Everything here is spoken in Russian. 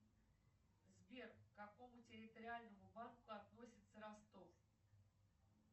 сбер к какому территориальному банку относится ростов